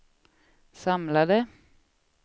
samlade